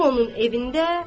Bu onun evində,